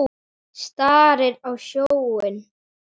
Starir á sjóinn.